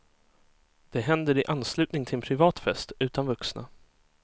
Det händer i anslutning till en privat fest, utan vuxna.